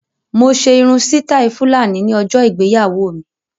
Mo ṣe irun sítáì Fúlàní ní ọjọ ìgbéyàwó mi.